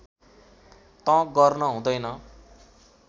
त गर्न हुँदैन